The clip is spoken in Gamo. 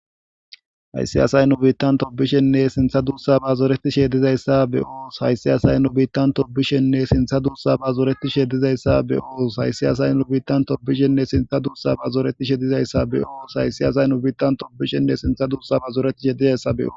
Hayis asayi nu deren tobishene sinththa dusaba zoretishe dizayisa beos